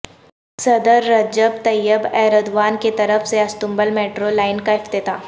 صدر Recep Tayyip Erdogan کیطرف سے استنبول میٹرو لائن کا افتتاح